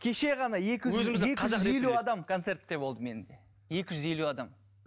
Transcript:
кеше ғана екі жүз екі жүз елу адам концертте болды менде екі жүз елу адам